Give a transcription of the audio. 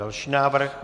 Další návrh.